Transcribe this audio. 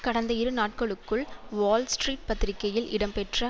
கடந்த இரு நாட்களுக்குள் வால் ஸ்ட்ரீட் பத்திரிகையில் இடம்பெற்ற